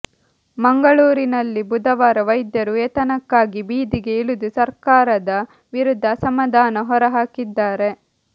ಮಂಗಳೂರಿನಲ್ಲಿ ಬುಧವಾರ ವೈದ್ಯರು ವೇತನಕ್ಕಾಗಿ ಬೀದಿಗೆ ಇಳಿದು ಸರ್ಕಾರದ ವಿರುದ್ಧ ಅಸಮಾಧಾನ ಹೊರ ಹಾಕಿದ್ದಾರೆ